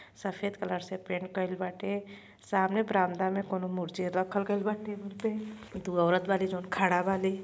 सफ़ेद कलर से पेंट कइल बाटे। सामने बरामदा में कोनो मूर्ति रखल गइल बाटे। ओपे दुगो औरत बाड़ी। खड़ा बाली।